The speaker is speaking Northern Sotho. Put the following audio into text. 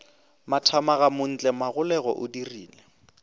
mathamaga montle magolego o dirile